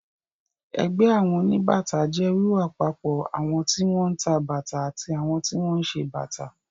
Ẹgbẹ́ àwọn oníbàtà jẹ́ wíwápapọ̀ àwọn tí wọ́n ń ta bàtà àti àwọn tí wọ́n ń ṣe bàtà.